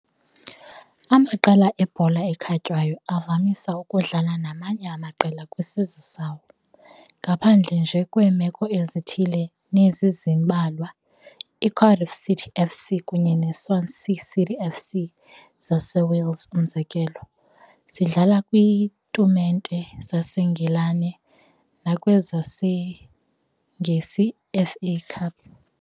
Amaqela ebhola ekhatywayo avamise ukudlala namanye amaqela kwisizwe sawo, ngaphandle nje ke kwemeko ezithile nezizezimbalwa. I-Cardiff City F.C. kunye ne Swansea City F.C zaseWales umzekelo, zidlala kwiitumente zaseNgilane nakwezesiNgesiiFA Cup.